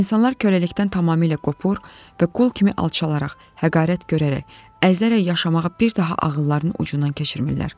İnsanlar köləlikdən tamamilə qopur və qul kimi alçalaraq, həqiqətləri görərək, əzlərək yaşamağı bir daha ağıllarının ucundan keçirmirlər.